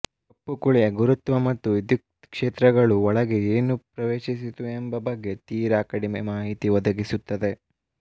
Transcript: ಕಪ್ಪು ಕುಳಿಯ ಗುರುತ್ವ ಮತ್ತು ವಿದ್ಯುತ್ ಕ್ಷೇತ್ರಗಳು ಒಳಗೆ ಏನು ಪ್ರವೇಶಿಸಿತು ಎಂಬ ಬಗ್ಗೆ ತೀರಾ ಕಡಿಮೆ ಮಾಹಿತಿ ಒದಗಿಸುತ್ತದೆ